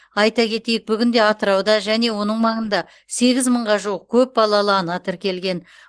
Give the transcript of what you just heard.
айта кетейік бүгінде атырауда және оның маңында сегіз мыңға жуық көп балалы ана тіркелген